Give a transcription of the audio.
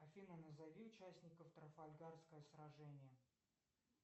афина назови участников трафальгарское сражение